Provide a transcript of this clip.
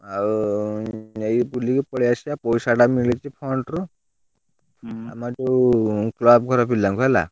ଆଉ ଏଇ ବୁଲିକି ପଳେଇଆସିବା ପଇସା ଟା ମିଳିଛି fund ରୁ ଆମର ଯୋଉ club ଘର ପିଲାଙ୍କୁ ହେଲା।